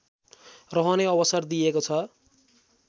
रहने अवसर दिएको छ